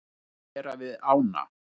Að vera við ána.